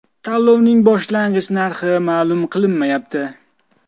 Tanlovning boshlang‘ich narxi ma’lum qilinmayapti.